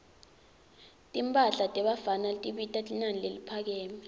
timphahla tebafana tibita linani leliphakeme